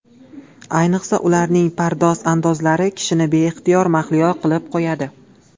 Ayniqsa, ularning pardoz-andozlari kishini beixtiyor mahliyo qilib qo‘yadi.